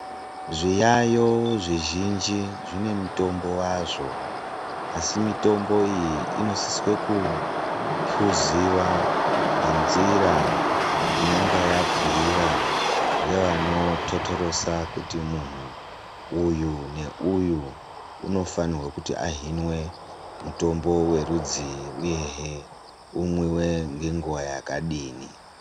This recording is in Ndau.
Zviyaiyo zvizhinji zvinemitombo wazvo asi mitombo iyi inosise kuphuziwa nenzira inonga yabhuyiwa ngevanototorosa kuti munhu uyu neuyu unofanirwe kuti ahinwe mutimbo werudzii uyehe umwiwe ngenguwa yakadini.